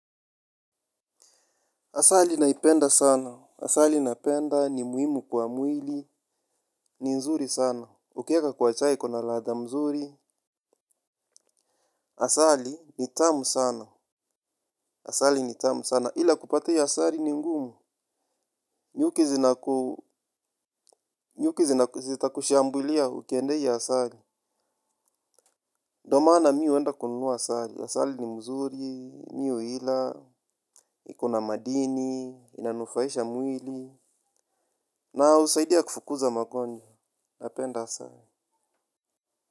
Asali naipenda sana. Asali napenda ni muhimu kwa mwili. Ni nzuri sana. Ukieka kwa chai kuna ladha mzuri. Asali ni tamu sana. Asali ni tamu sana. Ila kupata hiyo asali ni ngumu. Nyuki zitakushambulia ukiendea hiyo asali. Ndio maana mimi huenda kununua asali. Asali ni mzuri, mimi huila. Ikona madini. Inanufaisha mwili. Na husaidia kufukuza magonjwa. Napenda asali.